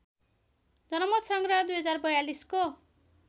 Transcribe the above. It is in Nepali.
जनमतसंग्रह २०४२ को